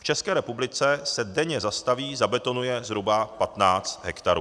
V České republice se denně zastaví, zabetonuje zhruba 15 hektarů.